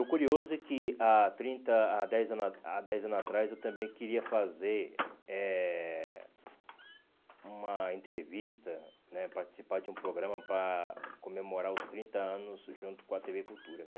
O curioso é que há trinta há dez anos ah há dez anos atrás eu também queria fazer eh uma entrevista né, participar de um programa para comemorar os trinta anos junto com a tê vê Cultura, né?